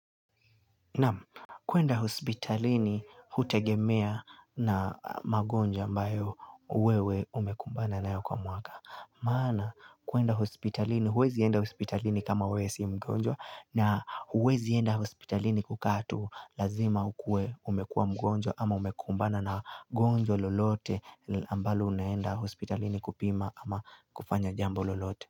Naam kuenda hospitalini hutegemea na magonjwa ambao uwewe umekumbana naeo kwa mwaka. Maana kuenda hospitalini, uwezienda hospitalini kama uwe si mgonjwa na uwezienda hospitalini kukatu lazima ukue umekuwa mgonjwa ama umekumbana na gonjwa lolote ambalo unaenda hospitalini kupima ama kufanya jambo lolote.